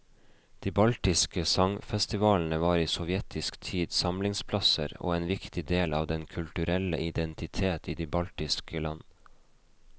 De baltiske sangfestivalene var i sovjetisk tid samlingsplasser og en viktig del av den kulturelle identitet i de baltiske land.